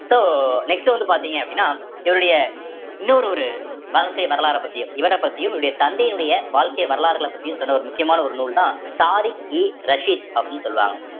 so next வந்து பார்த்தீங்க அப்படின்னா இவருடைய இன்னொரு ஒரு வாழ்க்கை வரலாறை பத்தியும் இவரைப் பத்தியும் இவருடைய தந்தையினுடைய வாழ்க்கை வரலாறுகளை பத்தியும் சொன்ன ஒரு முக்கியமான ஒரு நூல்தான் தாரிக்-இ-ரஷிதி அப்படின்னு சொல்லுவாங்க